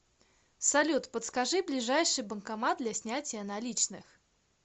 салют подскажи ближайший банкомат для снятия наличных